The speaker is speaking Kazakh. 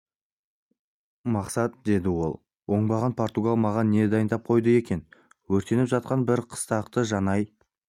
мақсат деді ол оңбаған португал маған не дайындап қойды екен өртеніп жатқан бір қыстақты жанай